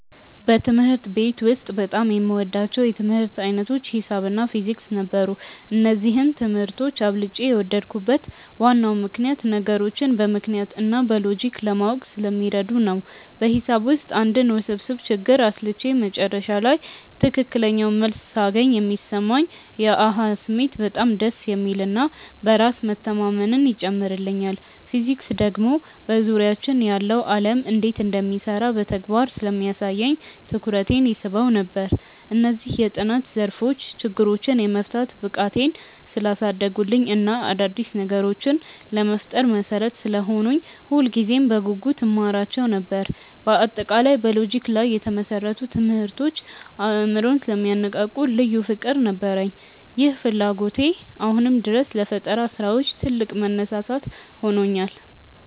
በትምህርት ቤት ውስጥ በጣም የምወዳቸው የትምህርት ዓይነቶች ሒሳብ እና ፊዚክስ ነበሩ። እነዚህን ትምህርቶች አብልጬ የወደድኩበት ዋናው ምክንያት ነገሮችን በምክንያት እና በሎጂክ ለማወቅ ስለሚረዱ ነው። በሒሳብ ውስጥ አንድን ውስብስብ ችግር አስልቼ መጨረሻ ላይ ትክክለኛውን መልስ ሳገኝ የሚሰማኝ የ "አሃ" ስሜት በጣም ደስ የሚል እና በራስ መተማመንን ይጨምርልኛል። ፊዚክስ ደግሞ በዙሪያችን ያለው ዓለም እንዴት እንደሚሰራ በተግባር ስለሚያሳየኝ ትኩረቴን ይስበው ነበር። እነዚህ የጥናት ዘርፎች ችግሮችን የመፍታት ብቃቴን ስላሳደጉልኝ እና አዳዲስ ነገሮችን ለመፍጠር መሠረት ስለሆኑኝ ሁልጊዜም በጉጉት እማራቸው ነበር። በአጠቃላይ በሎጂክ ላይ የተመሰረቱ ትምህርቶች አእምሮን ስለሚያነቃቁ ልዩ ፍቅር ነበረኝ። ይህ ፍላጎቴ አሁንም ድረስ ለፈጠራ ስራዎች ትልቅ መነሳሳት ሆኖኛል።